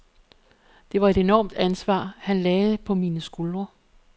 Det var et enormt ansvar, han lagde på mine skuldre.